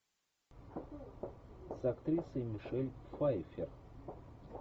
с актрисой мишель пфайфер